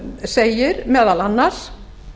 segir meðal annars